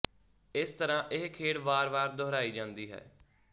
ਇਸ ਤਰ੍ਹਾ ਇਹ ਖੇਡ ਵਾਰ ਵਾਰ ਦੁਹਰਾਈ ਜਾਂਦੀ ਹੈ